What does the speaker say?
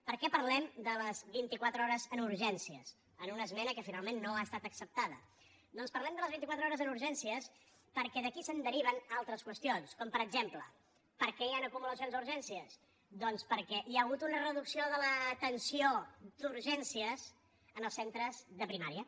per què parlem de les vint i quatre hores en urgències en una esmena que finalment no ha estat acceptada doncs parlem de les vint i quatre hores en urgències perquè d’aquí se’n deriven altres qüestions com per exemple per què hi han acumulacions a urgències doncs perquè hi ha hagut una reducció de l’atenció d’urgències en els centres de primària